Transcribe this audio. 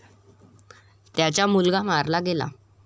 त्याचा मुलगा मारला गेला.